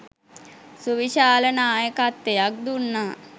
සුවිශාල නායකත්වයක් දුන්නා